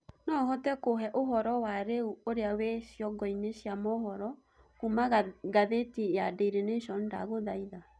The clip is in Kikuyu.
no uhote kũheeũhoro wa rĩũ ũrĩa wi cĩongo ini cia mohoro kũũma gathiti ya daily nation ndagũthaĩtha